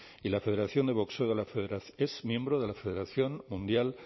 y la federación de boxeo es miembro de la federación mundial